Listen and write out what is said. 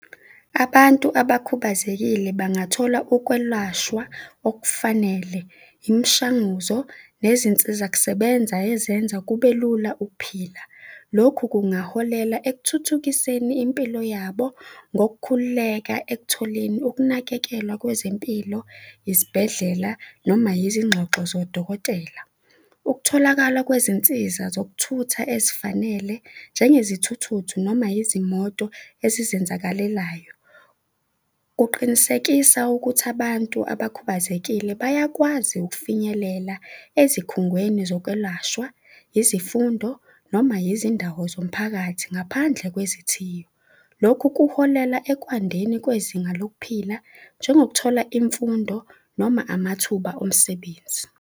Abantu abakhubazekile bangathola ukwelashwa okufanele, imishanguzo nezinsizakusebenza ezenza kubelula ukuphila. Lokhu kungaholela ekuthuthukiseni impilo yabo ngokukhululeka ekutholeni ukunakekelwa kwezempilo, izibhedlela noma izingxoxo zodokotela. Ukutholakala kwezinsiza zokuthutha ezifanele, njengezithuthuthu, noma izimoto ezizenzakalelayo, kuqinisekisa ukuthi abantu abakhubazekile bayakwazi ukufinyelela ezikhungweni zokwelashwa, izifundo noma yizindawo zomphakathi ngaphandle kwezithiyo. Lokhu kuholela ekwandeni kwezinga lokuphila, njengokuthola imfundo noma amathuba omsebenzi.